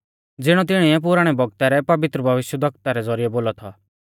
ज़िणौ तिणीऐ पुराणै बौगता रै पवित्र भविष्यवक्ता रै ज़ौरिऐ बोलौ थौ